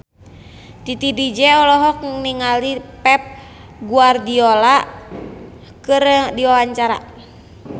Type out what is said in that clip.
Titi DJ olohok ningali Pep Guardiola keur diwawancara